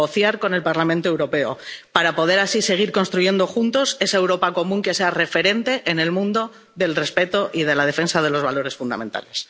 Deben negociar con el Parlamento Europeo, para poder así seguir construyendo juntos esa Europa común que sea referente en el mundo del respeto y de la defensa de los valores fundamentales.